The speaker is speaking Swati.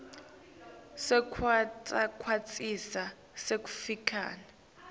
sekwengetwa kwesikhatsi sekufakwa